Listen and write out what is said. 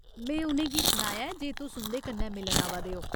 में उ'नें गी सनाया ऐ जे तुस उं'दे कन्नै मिलन आवा दे ओ।